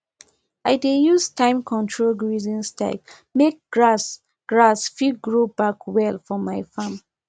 i dey use timecontrol grazing style make grass grass fit grow back well for my farm